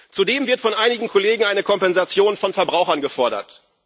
Zudem wird von einigen Kollegen eine Kompensation von Verbrauchern gefordert.